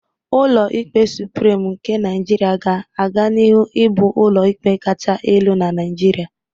Ụlọ ikpe Suprim nke Naịjirịa ga aganihu ịbụ ụlọ ikpe kacha elu na Naịjirịa.